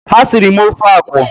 Ha sịrị m ofe akwụ